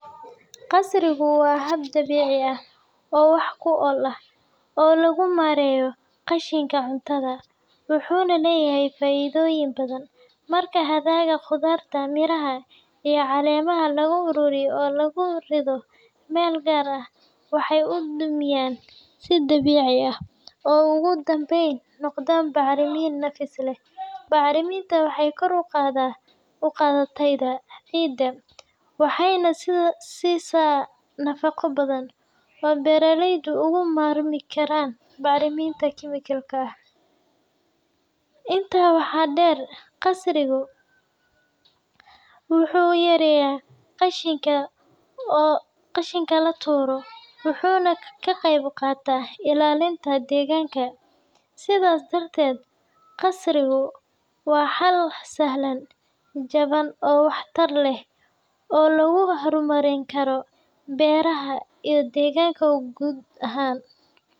Qasrigu waa hab dabiici ah oo wax ku ool ah oo lagu maareeyo qashinka cuntada, wuxuuna leeyahay faa’iidooyin badan. Marka hadhaaga khudaarta, miraha, iyo caleemaha la ururiyo oo lagu rido meel gaar ah, waxay u dumiyaan si dabiici ah oo ugu dambayn noqda bacrimin nafis leh. Bacrimintan waxay kor u qaadaa tayada ciidda, waxayna siisaa nafaqo badan oo beeraleydu uga maarmi karaan bacriminta kiimika ah. Intaa waxaa dheer, qasrigu wuxuu yareeyaa qashinka la tuuro, wuxuuna ka qayb qaataa ilaalinta deegaanka. Sidaas darteed, qasrigu waa xal sahlan, jaban, oo waxtar leh oo lagu horumarin karo beeraha iyo deegaanka guud ahaan.